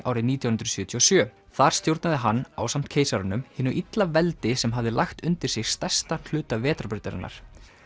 árið nítján hundruð sjötíu og sjö þar stjórnaði hann ásamt keisaranum hinu illa veldi sem hafði lagt undir sig stærstan hluta vetrarbrautarinnar